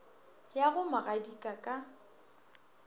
ya go mo gadika ka